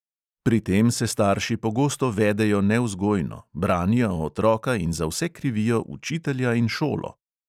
Pri tem se starši pogosto vedejo nevzgojno, branijo otroka in za vse krivijo učitelja in šolo.